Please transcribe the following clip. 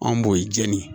Anw b'o ye jɛnini